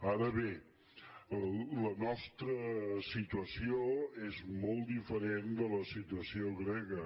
ara bé la nostra situació és molt diferent de la situació grega